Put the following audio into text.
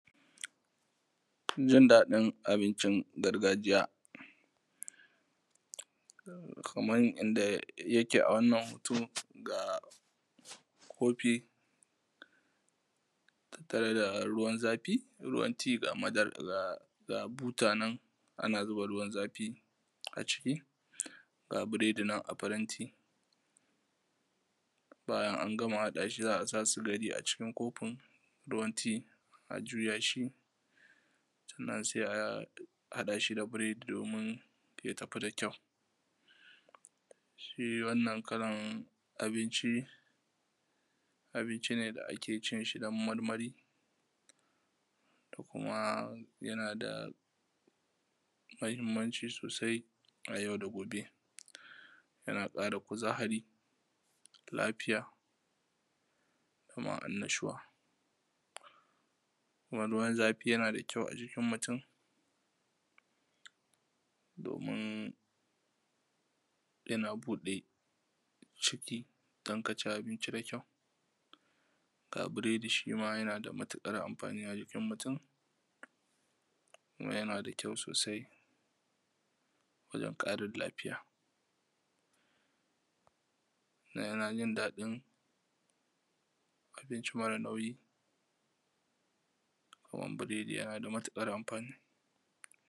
Jin daɗin abincin gargajiya, kamar yadda yake a wannan hoto ga kofi, ga ruwan zafi, butannan ana zuba ruwan zafi a ciki; ga biredi nan a faranti, bayan an gama haɗa shi, za a sa sigari a cikin kofin ruwan ti, a juya shi, sannan se a haɗa shi da biredi, domin ya tafi da kyau. Shi wannan kalan abinci abinci ne da ake cin shi dan marmari, ko kuma yana da mahinmanci sosai a yau da gobe. yana ƙara kuzari, lafiya, da kuma annashuwa, kuma ruwan zafi yana da kyau a jikin mutum, domin yana buɗe ciki don ka ci abinci da kyau ga biredi shi ma yana da matuƙar amfani a jikin mutum, kuma yana da kyau sosai wajen ƙarin lafiya. Yana jin daɗin abinci mara nauyi, da kuma biredi yana da matuƙar amfani.